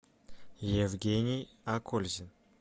евгений акользин